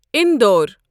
Indore